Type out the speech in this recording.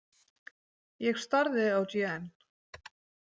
Ég starði á Jeanne.